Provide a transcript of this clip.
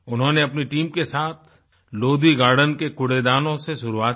उन्होंने अपनी टीम के साथ लोधी गार्डन के कूड़ेदानों से शुरुआत की